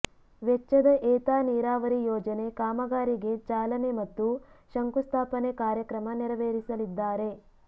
ವೆಚ್ಚದ ಏತ ನೀರಾವರಿ ಯೋಜನೆ ಕಾಮಗಾರಿಗೆ ಚಾಲನೆ ಮತ್ತು ಶಂಕುಸ್ಥಾಪನೆ ಕಾರ್ಯಕ್ರಮ ನೆರವೇರಿಸಲಿದ್ದಾರೆ